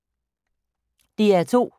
DR2